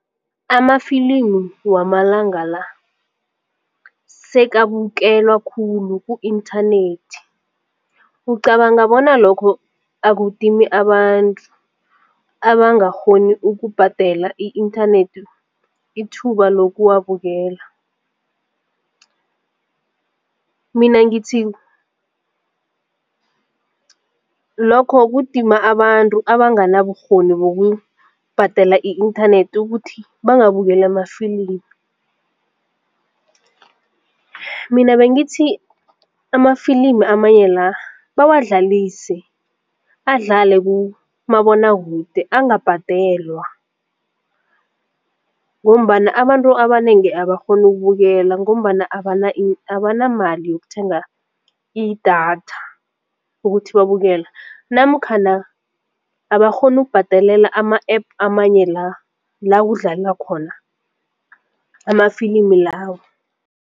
Amafilimu wamalanga la sekabukelwa khulu ku-inthanethi, ucabanga bona lokho akudimi abantu abangakghoni ukubhadela i- inthanethi ithuba lokuwabukela? Mina ngithi lokho kudima abantu abangana bukghoni bokubhadala i-inthanethi ukuthi bangabukeli amafilimi. Mina bengithi amafilimi amanye la bawadlalise adlale kumabonwakude angabhadelwa ngombana abantu abanengi abakghoni ukubukela ngombana i abanamali yokuthenga idatha ukuthi babukele namkhana abakghoni ukubhadelela ama-APP amanye la lakudlalwa khona amafilimi lawo.